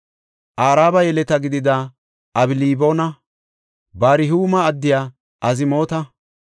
Araba yeleta gidida Abalboona, Barhuuma addiya Azmoota,